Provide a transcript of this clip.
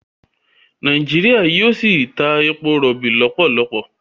ìjọba Nàìjíríà yíò sí tá èpo irobi lopolopo.